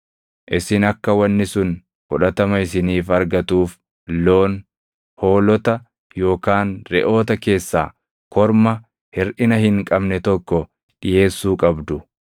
isin akka wanni sun fudhatama isiniif argatuuf loon, hoolota yookaan reʼoota keessaa korma hirʼina hin qabne tokko dhiʼeessuu qabdu.